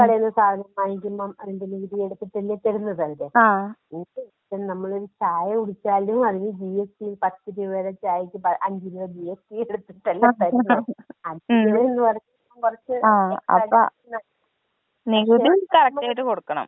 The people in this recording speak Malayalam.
പിന്നെ കടേന്ന് സാധനം വാങ്ങിക്കുമ്പോ അതിന്‍റെ നികുതി അടച്ചിട്ടല്ലേ തരുന്നത് അവര് ഇപ്പൊ നമ്മൾ ഒരു ചായ കുടിച്ചാൽ അതിന്റെ ജി എസ് ട്ടി പത്തു രൂപയുടെ ചായക്ക് അഞ്ചു രൂപ ജിഎസ്ടി കൊടുത്തിട്ടല്ലേ തരുന്നത്